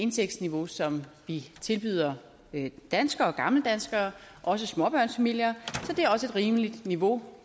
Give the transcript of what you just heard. indtægtsniveau som vi tilbyder danskere gammeldanskere også småbørnsfamilier så det er også et rimeligt niveau